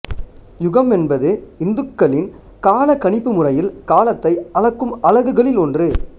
யுகம் என்பது இந்துக்களின் கால கணிப்பு முறையில் காலத்தை அளக்கும் அலகுகளில் ஒன்று